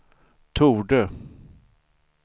torde